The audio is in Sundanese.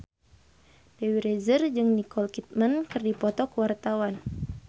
Dewi Rezer jeung Nicole Kidman keur dipoto ku wartawan